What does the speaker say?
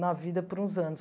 na vida por uns anos.